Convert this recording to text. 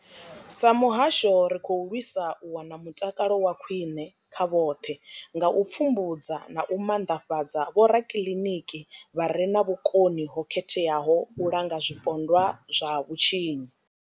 Sa muhasho, ri khou lwisa u wana mutakalo wa khwine kha vhoṱhe nga u pfumbudza na u maanḓafhadza vhorakiliniki vha re na vhukoni ho khetheaho u langa zwipondwa zwa vhutshinyi.